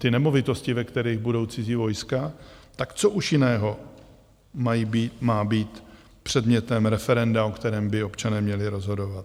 Ty nemovitosti, ve kterých budou cizí vojska, tak co už jiného má být předmětem referenda, o kterém by občané měli rozhodovat?